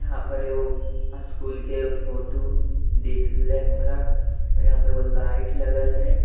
यहां पर एगो स्कूल के फोटो दिख रहले हमरा यहां पर एगो लाइट लगल हेय।